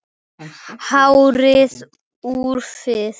Hárið úfið.